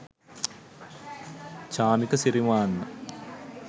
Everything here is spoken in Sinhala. chamika sirimanna